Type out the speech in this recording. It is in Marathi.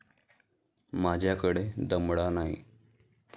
माझ्याकडे दमडा नाही.